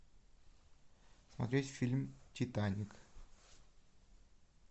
смотреть фильм титаник